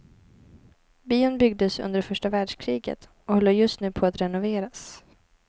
Bion byggdes under första världskriget och håller just nu på att renoveras.